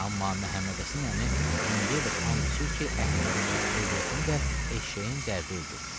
Amma Məhəmmədhəsən əmi indiyədək and içir ki, Əhmədi də, övrətini də eşşəyin dərdi öldürdü.